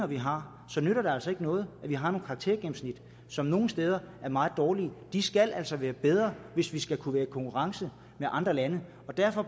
vi har så nytter det altså ikke noget at vi har nogle karaktergennemsnit som nogle steder er meget dårlige de skal altså være bedre hvis vi skal kunne være i konkurrence med andre lande og derfor